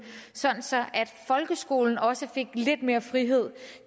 så så folkeskolen også fik lidt mere frihed